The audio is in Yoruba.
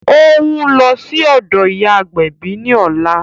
Ó ń lọ sí ọ̀dọ̀ ìyá agbẹ̀bí ní ọ̀la